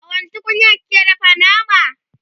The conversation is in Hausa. a wani tukunyar kike dafa nama?